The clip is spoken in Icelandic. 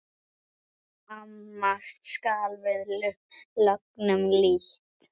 Amast skal við lögnum lítt.